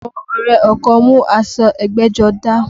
Àwọn ọrẹ ọkọ mú aṣọ ẹgbẹ́jọdá